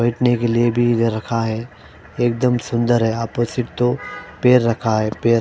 बैठने के लिए भी दे रखा है एकदम सुंदर है आपस में दो पेर रखा है पे--